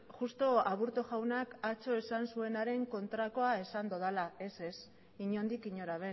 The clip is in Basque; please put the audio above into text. justu aburto jaunak atzo esan zuenaren kontrakoa esan dudala ez ez inondik inora